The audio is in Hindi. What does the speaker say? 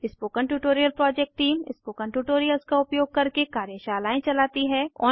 spoken tutorial project team spoken tutorials का उपयोग करके कार्यशालाएं चलाती है